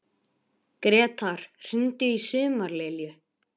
Gretar, hringdu í Sumarlilju.